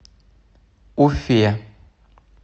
уфе